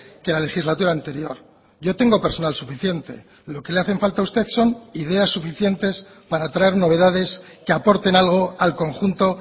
que la legislatura anterior yo tengo personal suficiente lo que le hacen falta a usted son ideas suficientes para traer novedades que aporten algo al conjunto